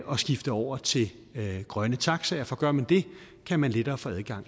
at skifte over til grønne taxaer for gør man det kan man lettere få adgang